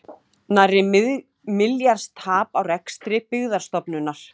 Nærri milljarðs tap á rekstri Byggðastofnunar